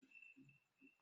Jiri nwayọọ na-anya ụgbọ ala!